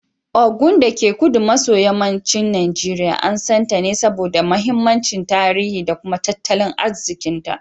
Ogun, dake kudu maso yammacin Najeriya, an san ta ne saboda mahimmancin tarihi da kuma tattalin arzikinta.